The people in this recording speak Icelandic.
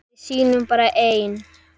Við sýnum bara ein